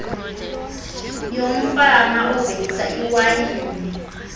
yomfama ovelisa iwayini